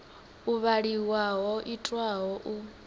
u vhaliwa ho itwaho u